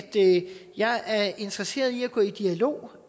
jeg er interesseret i at gå i dialog